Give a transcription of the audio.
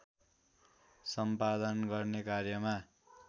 सम्पादन गर्ने कार्यमा